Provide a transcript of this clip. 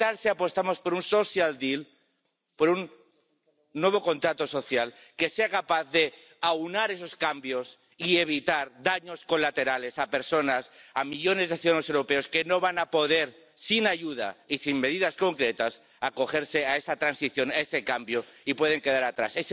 Qué tal si apostamos por un social deal por un nuevo contrato social que sea capaz de aunar esos cambios y evitar daños colaterales a personas, a millones de ciudadanos europeos que no van a poder, sin ayuda y sin medidas concretas, acogerse a esa transición, a ese cambio, y pueden quedarse atrás.